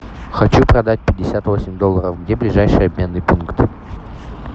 хочу продать пятьдесят восемь долларов где ближайший обменный пункт